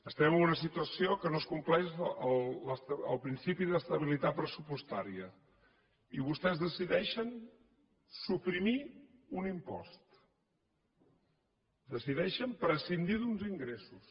estem en una situació en què no es compleix el principi d’estabilitat pressupostària i vostès decideixen suprimir un impost decideixen prescindir d’uns ingressos